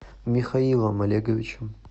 михаилом олеговичем